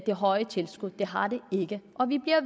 det høje tilskud det har det ikke og vi bliver